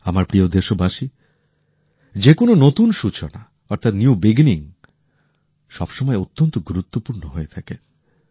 আমার প্রিয় দেশবাসী যেকোনো নতুন সূচনা অর্থাৎ নিউ বিগিনিং সব সময় অত্যন্ত গুরুত্বপূর্ণ হয়ে থাকে